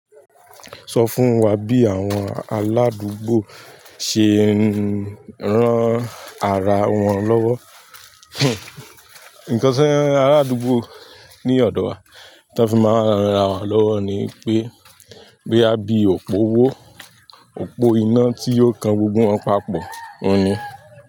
Sọ fún wa bí àwọn aládùúgbò ṣe ń rán ara wọn lọ́wọ́. Nǹkan tí aládùúgbò ní ọ̀dọ̀ wa tí wọ́n fi máa ń ran ara wọn lọ́wọ́ ni pé, boya bí òpó wó, òpó iná tí o kan gbogbo wọn papọ̀, òun ni.